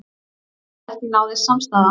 Áfall að ekki náðist samstaða